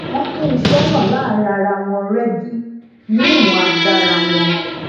wón pín iṣé náà láàárín ara wọn régí ni iwon agbara won